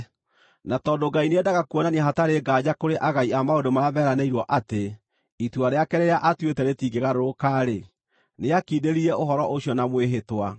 Na tondũ Ngai nĩendaga kuonania hatarĩ nganja kũrĩ agai a maũndũ marĩa meranĩirwo atĩ itua rĩake rĩrĩa aatuĩte rĩtingĩgarũrũka-rĩ, nĩakindĩrire ũhoro ũcio na mwĩhĩtwa.